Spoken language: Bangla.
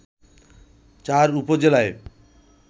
চার উপজেলায়